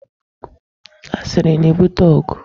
Asiri na-ebute ọgụ.